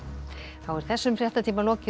þá er þessum fréttatíma lokið og